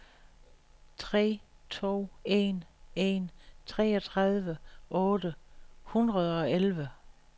tre to en en treogtredive otte hundrede og elleve